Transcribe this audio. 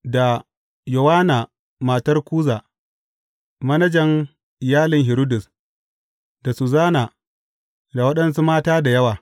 Da Yowanna matar Kuza, manajan iyalin Hiridus; da Suzana; da waɗansu mata da yawa.